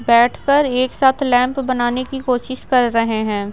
बैठकर एक साथ लैंप बनाने की कोशिश कर रहे हैं।